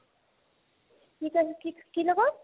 কি কৈছা কি কি লগত ?